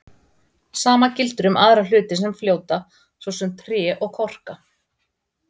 Sama gildir um aðra hluti sem fljóta, svo sem tré og korka.